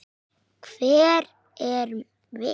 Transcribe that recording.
Hver erum við?